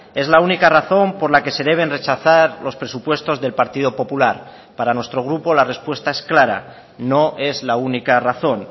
es la única razón por la que se deben rechazar los presupuestos del partido popular para nuestro grupo la respuesta es clara no es la única razón